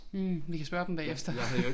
Mh vi kan spørge dem bagefter